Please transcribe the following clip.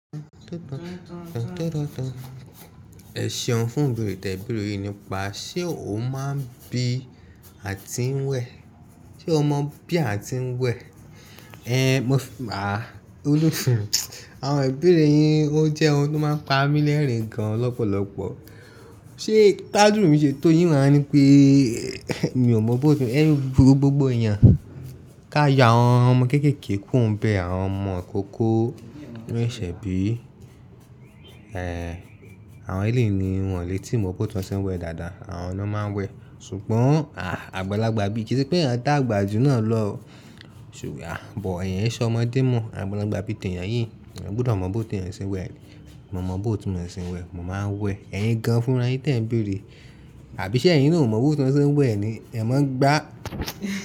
Ẹ ṣeun fún ìbẹ̀rè tẹ bẹ̀rè yìí nípa ṣé o máa ń bí àti ń wẹ̀? Ṣé o mọ bí àti ń wẹ̀? Ẹ̀, mo f- a, Olú f- àwọn ìbẹ́rẹ̀ yín ó jẹ́ ohun tó máa ń pa mí lẹ́rìn-ín gan lọ́pọ̀lọ́pọ̀. Ṣé t'ádúru mi ṣé tó yí n wà á ní pé è, mi ò mọ bóótú, ẹ́, burú gbogbo èèyàn? Ká yọ àwọn ọmọ kéékèèké kúrò n bẹ àwọn ọmọ ìkókó, tí wón ṣẹ̀ bí. Ẹ̀, àwọn ẹlẹ́ni ni wọ́n lè tí mo bóótú wọn ṣé ń wẹ̀ dáadáa, àwọn ọ̀nà máa ń wẹ̀. Ṣùgbọ́n, a, àgbàlagbà bí ìṣe pé ènìyàn dá àgbà jù náà lọ, ṣùgbọ́n, à, bọ̀ ẹ̀yin ṣọ ọmọdé mọ̀, àgbàlagbà bíi tẹ̀yàn yìí, eyan gbudọ mọ bóótú èèyàn ṣé ń wẹ̀. Mo mọ bóótú mo ṣe ń wẹ̀, mo máa ń wẹ̀. Ẹ̀yin gan fún ra yín tẹ n bẹ́rẹ̀. Àbí ṣé ẹ̀yin náà ò mọ bóótú wọn ṣé ń wẹ̀ ni? Ẹ máa ń gbá.